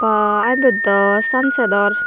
aa ebot do sunset or.